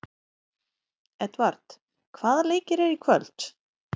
Edvard, hvaða leikir eru í kvöld?